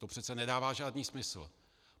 To přece nedává žádný smysl.